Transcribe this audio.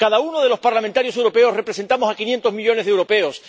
Cada uno de los parlamentarios europeos representamos a 500 millones de europeos.